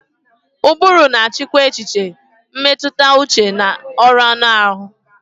Ụbụrụ na-achịkwa echiche, mmetụta uche na ọrụ anụ ahụ.